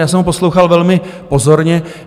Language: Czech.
Já jsem ho poslouchal velmi pozorně.